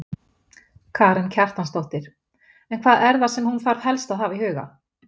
Karen Kjartansdóttir: En hvað er það sem hún þarf helst að hafa í huga?